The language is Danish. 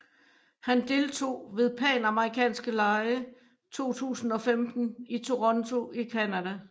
Han deltog ved Panamerikanske lege 2015 i Toronto i Canada